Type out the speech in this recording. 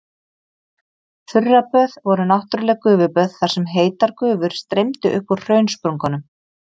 Þurraböð voru náttúrleg gufuböð þar sem heitar gufur streymdu upp úr hraunsprungum.